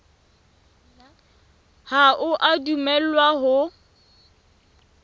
ha o a dumellwa ho